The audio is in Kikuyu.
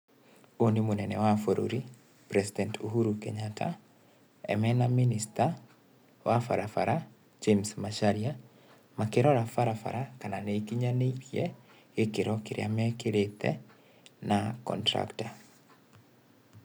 Ũyũ nĩ mũnene wa bũrũri, president Uhuru Kenyatta, mena minister wa barabara James Macharia makĩrora barabara kana nĩ ikinyanĩirie gĩkĩro kĩrĩa mekĩrĩte na contractor.